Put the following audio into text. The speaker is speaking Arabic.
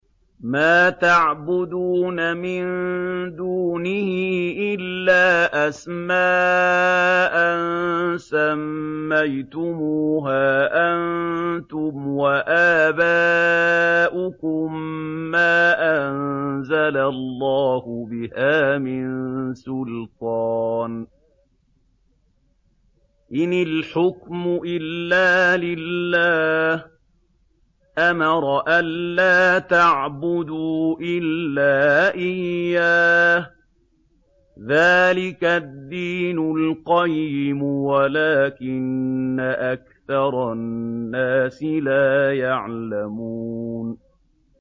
مَا تَعْبُدُونَ مِن دُونِهِ إِلَّا أَسْمَاءً سَمَّيْتُمُوهَا أَنتُمْ وَآبَاؤُكُم مَّا أَنزَلَ اللَّهُ بِهَا مِن سُلْطَانٍ ۚ إِنِ الْحُكْمُ إِلَّا لِلَّهِ ۚ أَمَرَ أَلَّا تَعْبُدُوا إِلَّا إِيَّاهُ ۚ ذَٰلِكَ الدِّينُ الْقَيِّمُ وَلَٰكِنَّ أَكْثَرَ النَّاسِ لَا يَعْلَمُونَ